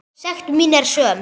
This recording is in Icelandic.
Sekt mín er söm.